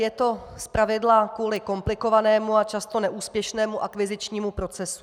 Je to zpravidla kvůli komplikovanému a často neúspěšnému akvizičnímu procesu.